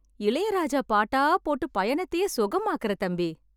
இளையராஜா பாட்டா போட்டு பயணத்தையே சுகமாக்குற தம்பி.